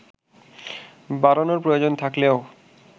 বাড়ানোর প্রয়োজন থাকলেও